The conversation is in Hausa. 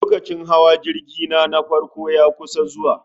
Lokacin hawa jirgi na, na farko ya kusan zuwa